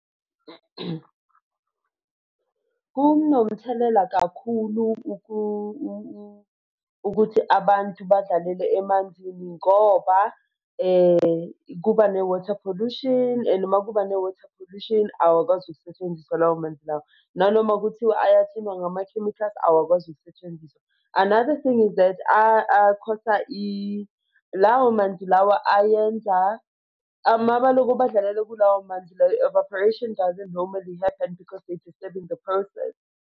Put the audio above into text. Kunomthelela kakhulu ukuthi abantu badlalele emanzini ngoba kuba kuba ne-water pollution and uma kuba ne-water pollution awakwazi ukusetshenziswa lawo manzi lawa. Nanoma kuthiwa ayaklinwa ngama-chemicals awakwazi ukusetshenziswa. Another thing is that akhosta lawo manzi lawa ayenza uma baloku badlalele kulawo manzi la evaporation doesn't normally happen because they're disturbing the process.